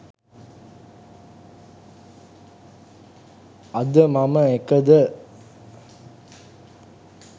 අද මම එකද?